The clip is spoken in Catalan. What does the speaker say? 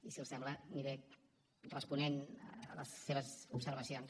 i si els sembla aniré responent a les seves observacions